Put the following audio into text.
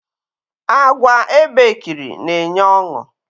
Àgwà ebekiri na enye ọṅụ